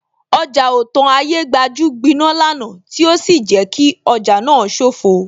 Ọjà Otan Ayégbajú gbiná lánàá tí ó sì jẹ́ kí ọjà náà sofoo